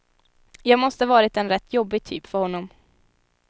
Jag måste varit en rätt jobbig typ för honom.